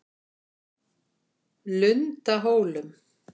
Lundahólum